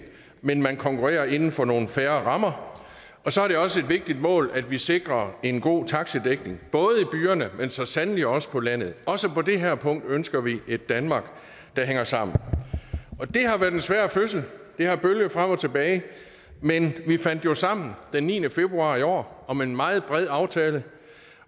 men man konkurrerer inden for nogle fair rammer og så er det også vigtigt mål at vi sikrer en god taxidækning både byerne men så sandelig også på landet også på det her punkt ønsker vi et danmark der hænger sammen det har været en svær fødsel det har bølget frem og tilbage men vi fandt jo sammen den niende februar i år om en meget bred aftale